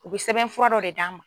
U bɛ sɛbɛnfɔra dɔ de d'an ma.